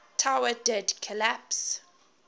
tower did collapse